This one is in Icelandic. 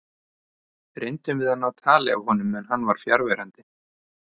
Reyndum við að ná tali af honum en hann var fjarverandi.